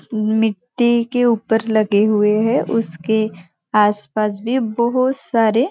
मिट्टी के ऊपर लगे हुए है उसके आसपास भी बहुत सारे--